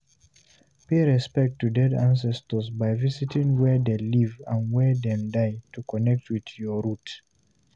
Pay respect to dead ancestors by visiting where dem live and where dem die to connect with your root.